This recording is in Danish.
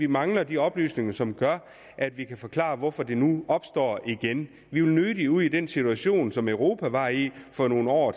mangler de oplysninger som gør at vi kan forklare hvorfor det nu opstår igen vi vil nødig ud i den situation som europa var i for nogle år